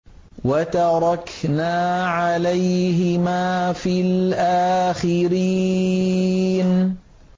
وَتَرَكْنَا عَلَيْهِمَا فِي الْآخِرِينَ